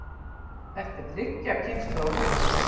Þetta er þriggja kynslóða hús.